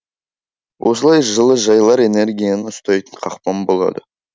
осылай жылыжайлар энергияны ұстайтын қақпан болады